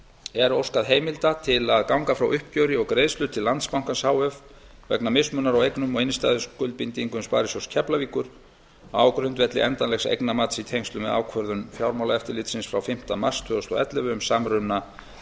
er óskað heimildar til að ganga frá uppgjöri og greiðslu til landsbankans h f vegna mismunar á eignum og innstæðuskuldbindingum sparisjóðs keflavíkur á grundvelli endanlegs eignamats í tengslum við ákvörðun fjármálaeftirlitsins frá fimmta mars tvö þúsund og ellefu um samruna